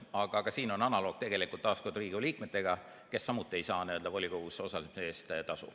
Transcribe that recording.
Aga ka siin on tegelikult taas analoog Riigikogu liikmetega, kes samuti ei saa volikogus osalemise eest tasu.